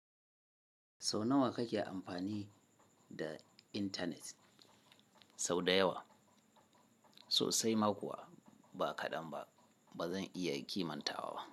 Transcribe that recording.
Sau nawa kake amfani da intanet? Sau da yawa, sosai ma kuwa ba kaɗan ba. Ba zan iya kimantawa ba.